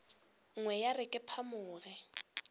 nngwe ya re ke phamoge